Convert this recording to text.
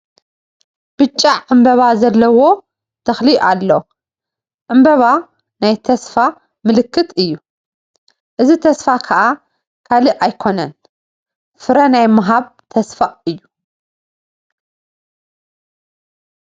ብጫ ዕመበባ ዘለዎ ተኽሊ ኣሎ፡፡ ዕምበባ ናይ ተስፋ ምልክት እዩ፡፡ እዚ ተስፋ ከአ ካልእ ኣይኮነን ፍረ ናይ ምሃብ ተስፋ እዩ፡፡